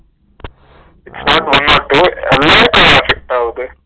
smart one not two lakes உம் affect ஆகுது